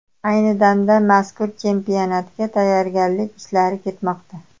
Ayni damda mazkur chempionatga tayyorgarlik ishlari ketmoqda.